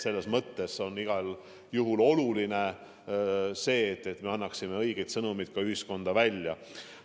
Selles mõttes on igal juhul oluline, et me annaksime ühiskonnale õigeid sõnumeid.